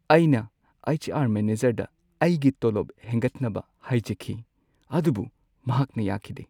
ꯑꯩꯅ ꯑꯩꯆ.ꯑꯥꯔ. ꯃꯦꯅꯦꯖꯔꯗ ꯑꯩꯒꯤ ꯇꯣꯂꯣꯞ ꯍꯦꯟꯒꯠꯅꯕ ꯍꯥꯏꯖꯈꯤ ꯑꯗꯨꯕꯨ ꯃꯍꯥꯛꯅ ꯌꯥꯈꯤꯗꯦ꯫